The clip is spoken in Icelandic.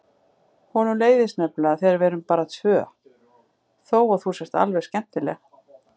Honum leiðist nefnilega þegar við erum bara tvö:. þó að þú sért alveg skemmtileg!